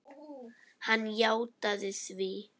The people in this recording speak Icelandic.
Hann játaði því.